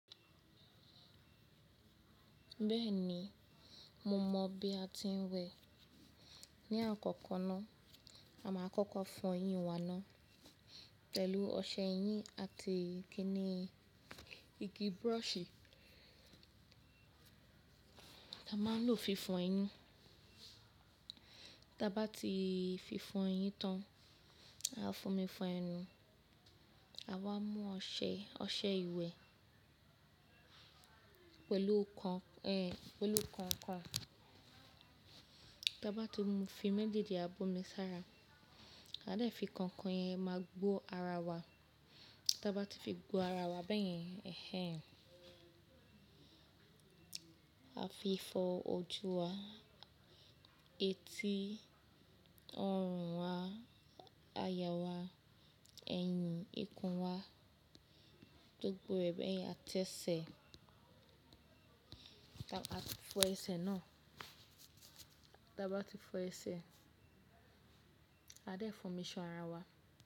Bẹ́ẹ̀ni, mo mọ bí a ti ń wẹ̀. Ni àkọ́kọ́ náà, a máa kọ́kọ́ fọ eyín wa náà pẹ̀lú ọṣẹ eyín àti kíni igi brushì. A máa ń lo fífọ ẹyín. Tí a bá ti fífọ ẹyín tán, a fo mi fo ẹnu. A wá mú ọṣẹ, ọṣẹ ìwẹ̀ pẹ̀lú kan, ẹ, pẹ̀lú kan-kan. Tí a bá ti mú fin méjèèjì, a bo mi sára. A dẹ̀ fi kan-kan yẹn máa gbọ ara wa. Tí a bá ti fi gbọ́ ara wa bẹ́yẹn, ẹhẹ́n, a fi fọ ojú wa, etí, ọrùn wa, àyà wa, ẹ̀yìn, ikùn wa, gbogbo rẹ̀ bẹ́yẹn. A tẹ́ ẹsẹ̀, a ti fọ ẹsẹ̀ náà. Tí a bá ti fọ ẹsẹ̀, a dẹ̀ fún mi ṣan ara wa.